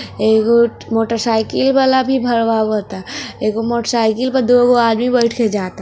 एगो मोटरसाइकिल वाला भी भरवा वता एगो मोटरसाइकिल पे दोगो आदमी बइठ के जाता।